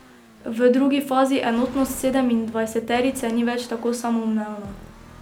V drugi fazi enotnost sedemindvajseterice ni več tako samoumevna.